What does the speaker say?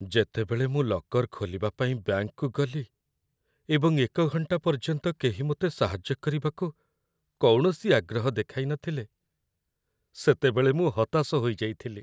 ଯେତେବେଳେ ମୁଁ ଲକର୍ ଖୋଲିବା ପାଇଁ ବ୍ୟାଙ୍କକୁ ଗଲି ଏବଂ ଏକ ଘଣ୍ଟା ପର୍ଯ୍ୟନ୍ତ କେହି ମୋତେ ସାହାଯ୍ୟ କରିବାକୁ କୌଣସି ଆଗ୍ରହ ଦେଖାଇନଥିଲେ, ସେତେବେଳେ ମୁଁ ହତାଶ ହୋଇଯାଇଥିଲି।